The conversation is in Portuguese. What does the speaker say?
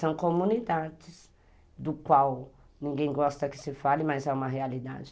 São comunidades do qual ninguém gosta que se fale, mas é uma realidade.